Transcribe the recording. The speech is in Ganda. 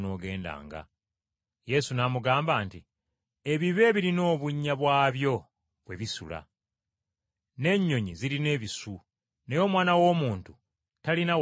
Yesu n’amugamba nti, “Ebibe birina obunnya bwabyo mwe bisula, n’ennyonyi zirina ebisu, naye Omwana w’Omuntu, talina kifo kya kuwumulizaamu mutwe gwe.”